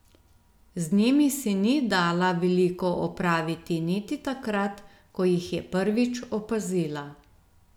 Z njimi si ni dala veliko opraviti niti takrat, ko jih je prvič opazila.